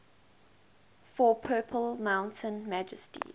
for purple mountain majesties